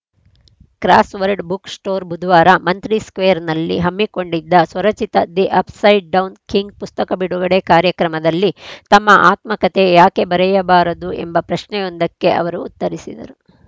crossword book store ಬುಧವಾರ ಮಂತ್ರಿ ಸ್ಕೆ್ವೕರ್‌ನಲ್ಲಿ ಹಮ್ಮಿಕೊಂಡಿದ್ದ ಸ್ವರಚಿತ ದಿ ಅಪ್‌ಸೈಡ್‌ ಡೌನ್‌ ಕಿಂಗ್‌ ಪುಸ್ತಕ ಬಿಡುಗಡೆ ಕಾರ್ಯಕ್ರಮದಲ್ಲಿ ತಮ್ಮ ಆತ್ಮಕಥೆ ಯಾಕೆ ಬರೆಯಬಾರದು ಎಂಬ ಪ್ರಶ್ನೆಯೊಂದಕ್ಕೆ ಅವರು ಉತ್ತರಿಸಿದರು